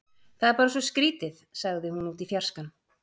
Það er bara svo skrýtið- sagði hún út í fjarskann.